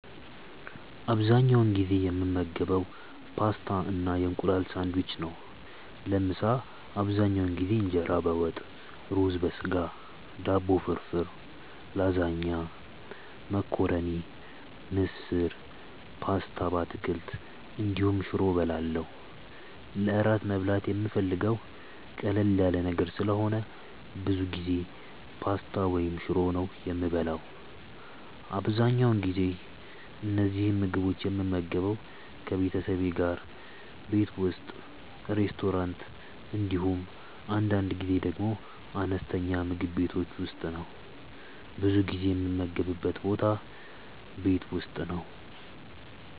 አብዛኛውን ጊዜ የምመገበው ፓስታ እና የእንቁላል ሳንድዊች ነው። ለምሳ አብዛኛውን ጊዜ እንጀራ በወጥ፣ ሩዝ በስጋ፣ ዳቦ ፍርፍር፣ ላዛኛ፣ መኮረኒ፣ ምስር፣ ፓስታ በአትክልት እንዲሁም ሽሮ እበላለሁ። ለእራት መብላት የምፈልገው ቀለል ያለ ነገር ስለሆነ ብዙ ጊዜ ፓስታ ወይም ሽሮ ነው የምበላው። አብዛኛውን ጊዜ እነዚህን ምግቦች የምመገበው ከቤተሰቤ ጋር ቤት ውስጥ፣ ሬስቶራንት እንዲሁም አንዳንድ ጊዜ ደግሞ አነስተኛ ምግብ ቤቶች ውስጥ ነው። ብዙ ጊዜ የምመገብበት ቦታ ቤት ውስጥ ነው።